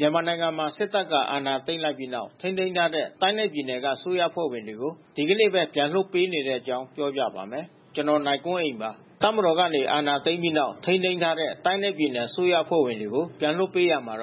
မြန်မာနိုင်ငံမှာ စစ်တပ်က အာဏာသိမ်းလိုက်ပြီးနောက် ထိန်းသိမ်းထားတဲ့ တိုင်းနဲ့ပြည်နယ်က အစိုးရအဖွဲ့ဝင်တွေကို ဒီကနေ့ပဲ ပြန်လွှတ်ပေးနေတဲ့အကြောင်းကို ဗွီအိုအေမြန်မာပိုင်းသတင်းထောက် ကိုနိုင်ကွန်းအိန်က ပြောပြပေးပါမယ်။ တပ်မတော်က အာဏာသိမ်းပြီးနောက် ထိန်းသိမ်းထားတဲ့ တိုင်းနဲ့ပြည်နယ် အစိုးရအဖွဲ့ဝင်တွေကို ပြန်လွှတ်ပေးရာမှာ က